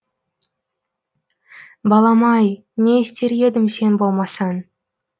балам ай не істер едім сен болмасаң